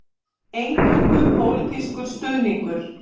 Eingöngu pólitískur stuðningur